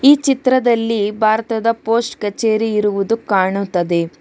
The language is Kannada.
ಈ ಚಿತ್ರದಲ್ಲಿ ಭಾರತದ ಪೋಸ್ಟ್ ಕಚೇರಿ ಇರುವುದು ಕಾಣುತದೆ.